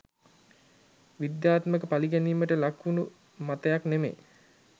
විද්‍යාත්මක පලි ගැනීමට ලක් වුන මතයක් නෙමෙයි